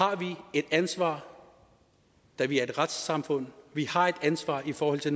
et ansvar da vi er et retssamfund vi har et ansvar i forhold til